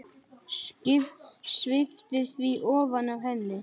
Sviptir því ofan af henni.